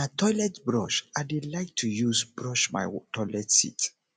na toilet brush i dey like to use brush my toilet seat